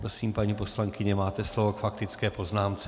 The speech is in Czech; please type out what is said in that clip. Prosím, paní poslankyně, máte slovo k faktické poznámce.